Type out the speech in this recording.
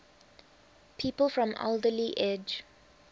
people from alderley edge